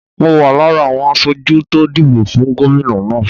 Mo wà lára àwọn aṣojú tó dìbò fún gómìnà náà.